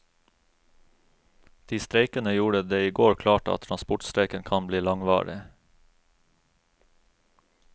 De streikende gjorde det i går klart at transportstreiken kan bli langvarig.